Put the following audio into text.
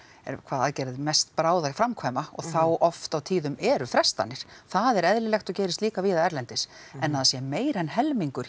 eða hvaða aðgerð er mest bráð að framkvæma og þá oft á tíðum eru frestanir það er eðlilegt og gerist líka víða erlendis en að það sé meira en helmingur